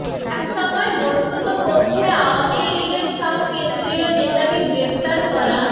একসময় বস্তুতপক্ষে আওয়ামী লীগের সব কেন্দ্রীয় নেতাকে গ্রেপ্তার করা